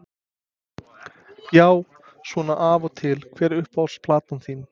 Já svona af og til Hver er uppáhalds platan þín?